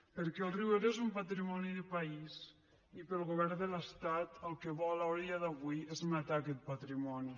perquè el riu ebre és un patrimoni de país i el govern de l’estat el que vol a dia d’avui és matar aquest patrimoni